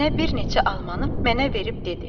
Nənə bir neçə almanı mənə verib dedi: